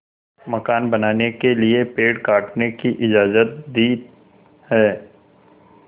मकान बनाने के लिए पेड़ काटने की इजाज़त दी है